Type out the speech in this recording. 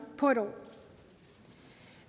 på et år